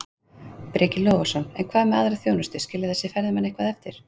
Breki Logason: En hvað með aðra þjónustu, skilja þessir ferðamenn eitthvað eftir?